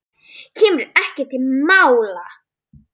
Kemur ekki til mála!